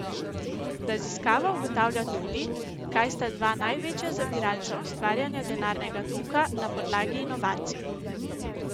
Raziskava ugotavlja tudi, kaj sta dva največja zaviralca ustvarjanja denarnega toka na podlagi inovacij.